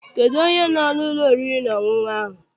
Kedụ onye no n'ụlọ oriri na ọṅụṅụ ahụ?